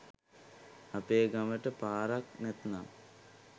අපේ ගමට පාරක් නැත්නම්